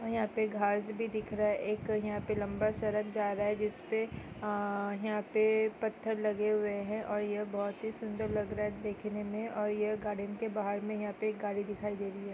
यहाँ पे घास भी दिख रहा है एक यहाँ पे लम्बा सा सड़क जा रहा है जाह पे आ यहाँ पे पत्थर लगे हुए है| बहुत ही सुंदर लग रहे है देखने में ये के बाहर में यहाँ पे गाड़ी दिखाई दे रहे है |